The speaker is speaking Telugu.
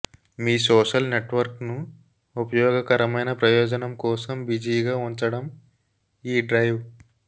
మీ సోషల్ నెట్వర్క్ను ఉపయోగకరమైన ప్రయోజనం కోసం బిజీగా ఉంచడం ఈ డ్రైవ్